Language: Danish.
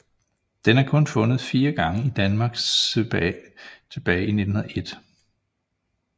Den er kun fundet fire gange i Danmark tilbage i 1901